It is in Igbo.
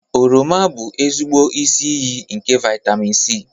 Oroma bụ ezigbo isi iyi nke vitamin C